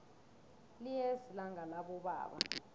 liyeza ilanga labobaba